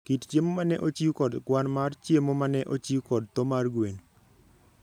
kit chiemo ma ne ochiw kod kwan mar chiemo ma ne ochiw kod tho mar gwen.